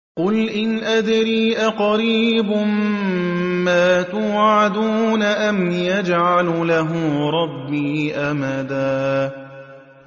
قُلْ إِنْ أَدْرِي أَقَرِيبٌ مَّا تُوعَدُونَ أَمْ يَجْعَلُ لَهُ رَبِّي أَمَدًا